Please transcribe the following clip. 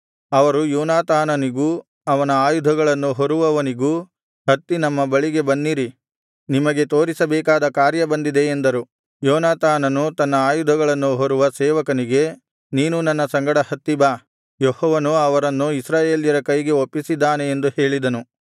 ಅವರು ಯೋನಾತಾನನಿಗೂ ಅವನ ಆಯುಧಗಳನ್ನು ಹೊರುವವನಿಗೂ ಹತ್ತಿ ನಮ್ಮ ಬಳಿಗೆ ಬನ್ನಿರಿ ನಿಮಗೆ ತೋರಿಸಿಬೇಕಾದ ಕಾರ್ಯ ಬಂದಿದೆ ಎಂದರು ಯೋನಾತಾನನು ತನ್ನ ಆಯುಧಗಳನ್ನು ಹೊರುವ ಸೇವಕನಿಗೆ ನೀನೂ ನನ್ನ ಸಂಗಡ ಹತ್ತಿ ಬಾ ಯೆಹೋವನು ಅವರನ್ನು ಇಸ್ರಾಯೇಲ್ಯರ ಕೈಗೆ ಒಪ್ಪಿಸಿದ್ದಾನೆ ಎಂದು ಹೇಳಿದನು